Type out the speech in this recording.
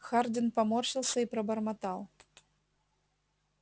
хардин поморщился и пробормотал